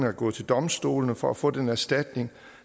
er gået til domstolene for at få den erstatning